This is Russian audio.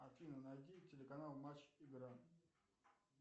афина найди телеканал матч игра